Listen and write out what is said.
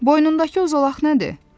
Boynundakı uzolaq nədir?